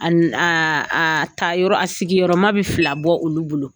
A n a a a tayɔrɔ a sigi yɔrɔma bɛ fila bɔ olu bolo